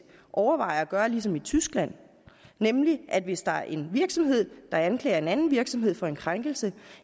overvejer at gøre ligesom i tyskland nemlig at hvis der er en virksomhed der anklager en anden virksomhed for en krænkelse